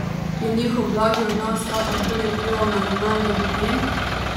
Je njihov blagi odnos kakorkoli vplival na ravnanje ljudi?